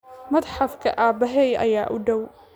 Matxafka aabbahay ayaa u dhow